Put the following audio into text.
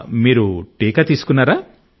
మీరు టీకా తీసుకున్నారా